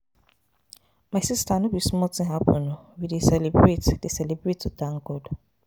My sister no be small thing happen oo. We dey, we dey celebrate to thank God.